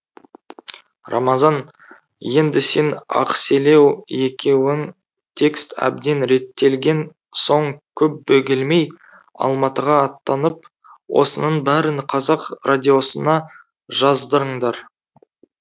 рамазан енді сен ақселеу екеуің текст әбден реттелген соң көп бөгелмей алматыға аттанып осының бәрін қазақ радиосына жаздырыңдар